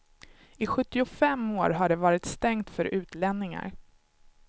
I sjuttiofem år har det varit stängt för utlänningar.